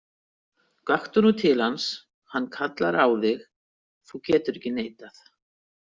Gakktu nú til hans, hann kallar á þig, þú getur ekki neitað.